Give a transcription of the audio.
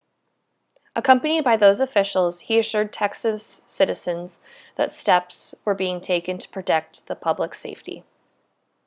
accompanied by those officials he assured texas citizens that steps were being taken to protect the public's safety